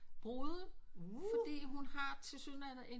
Brude fordi hun har tilsyneladende